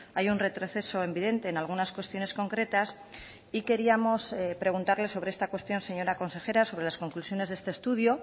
hay un retroceso evidente en algunas cuestiones concretas y queríamos preguntarle sobre esta cuestión señora consejera sobre las conclusiones de este estudio